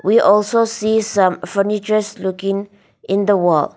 we also see some furnitures looking in the wall.